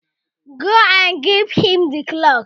Go and give him the cloth!